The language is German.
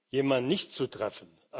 jemand nicht zu treffen.